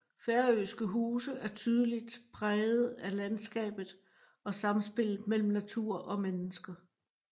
Færøske huse er tydelig præget af landskabet og samspillet mellem natur og mennesker